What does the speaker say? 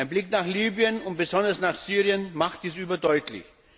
Ein Blick nach Libyen und besonders nach Syrien macht dies überdeutlich.